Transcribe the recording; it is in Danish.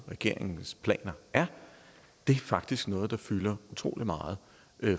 regeringens planer er det er faktisk noget der fylder utrolig meget